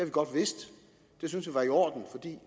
godt vidst det synes vi var i orden fordi